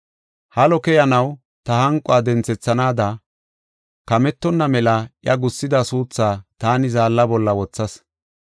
Halo keyanaw, ta hanquwa denthethanaada, kamettonna mela iya gussida suuthaa taani zaalla bolla wothas.”